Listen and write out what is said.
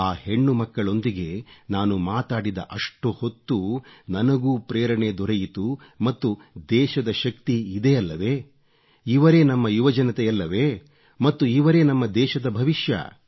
ಆ ಹೆಣ್ಣುಮಕ್ಕಳೊಂದಿಗೆ ನಾನು ಮಾತಾಡಿದ ಅಷ್ಟೊತ್ತೂ ನನಗೂ ಪ್ರೇರಣೆ ದೊರೆಯಿತು ಮತ್ತು ದೇಶದ ಶಕ್ತಿ ಇದೇ ಅಲ್ಲವೇ ಇವರೇ ನಮ್ಮ ಯುವಜನತೆಯಲ್ಲವೇ ಮತ್ತು ಇವರೇ ನಮ್ಮ ದೇಶದ ಭವಿಷ್ಯ